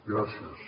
gràcies